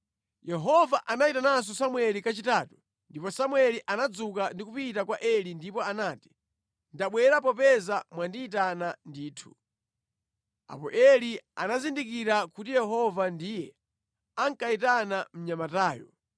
Yehova anayitananso Samueli kachitatu ndipo Samueli anadzuka ndikupita kwa Eli ndipo anati, “Ndabwera popeza mwandiyitana ndithu.” Apo Eli anazindikira kuti Yehova ndiye ankayitana mnyamatayo.